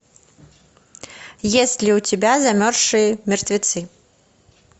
есть ли у тебя замерзшие мертвецы